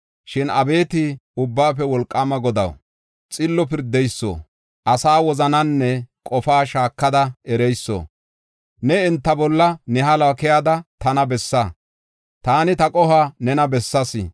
Shin abeeti Ubbaafe Wolqaama Godaw, xillo pirdeyso, asa wozananne qofaa shaakada ereyso, ne enta bolla ne haluwa keyada tana bessa. Taani ta qohuwa nena bessaas.